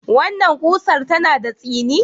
Wannan ƙusar tana da tsini?